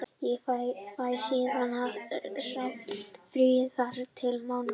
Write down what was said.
Ég fæ síðan sá frí þar til á mánudaginn.